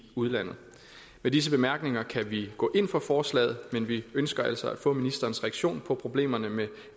udlandet med disse bemærkninger kan vi gå ind for forslaget men vi ønsker altså at få ministerens reaktion på problemerne med